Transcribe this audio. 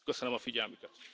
Köszönöm a figyelmüket!